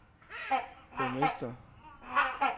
borgmester